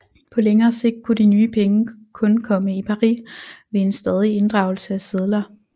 På længere sigt kunne de nye penge kun komme i pari ved en stadig inddragelse af sedler